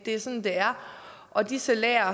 er sådan det er og de salærer